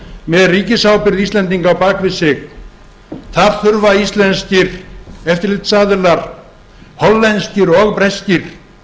með ríkisábyrgð íslendinga á bak við sig þar þurfa íslenskir eftirlitsaðilar hollenskir og breskir